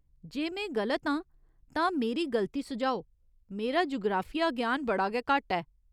जे में गलत आं तां मेरी गल्ती सुझाओ , मेरा जुगराफिया ग्यान बड़ा गै घट्ट ऐ।